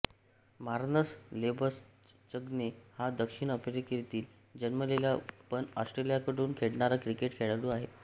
Marnus Labuschagne हा दक्षिण आफ्रिकेत जन्मलेला पण ऑस्ट्रेलियाकडून खेळणारा क्रिकेट खेळाडू आहे